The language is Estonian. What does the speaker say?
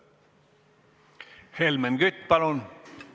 Helmen Kütt, palun!